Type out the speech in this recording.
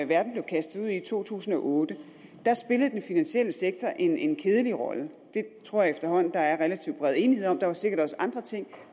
verden blev kastet ud i to tusind og otte spillede den finansielle sektor en kedelig rolle det tror jeg efterhånden der er relativ bred enighed om der var sikkert også andre ting